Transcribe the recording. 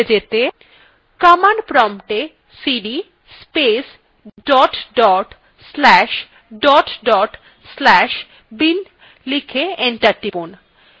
command promptএ cd space dot dot slash dot dot slash bin লিখে enter টিপুন